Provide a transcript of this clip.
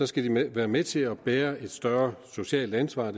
skal de være med til at bære et større socialt ansvar